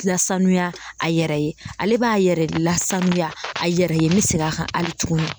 Lasanuya a yɛrɛ ye ale b'a yɛrɛ lasanuya a yɛrɛ ye n bɛ segin a kan hali tuguni.